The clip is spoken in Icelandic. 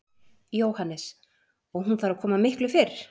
Jóhannes: Og hún þarf að koma miklu fyrr?